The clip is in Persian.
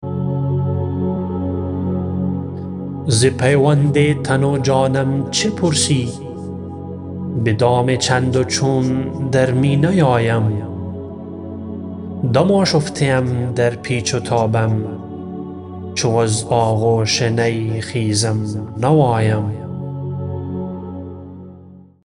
ز پیوند تن و جانم چه پرسی به دام چند و چون در می نیایم دم آشفته ام در پیچ و تابم چو از آغوش نی خیزم نوایم